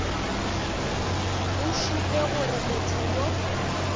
go šupe gore motho yo